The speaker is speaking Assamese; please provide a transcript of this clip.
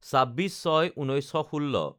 ২৯/০৬/১৯১৬